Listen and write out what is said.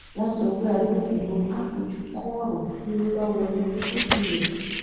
wọn sọ pé agbófinró á fojú kọ ọrọ bí owó bá wọlé lójú rẹ